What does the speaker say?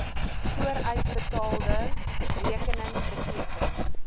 vooruitbetaalde rekening beteken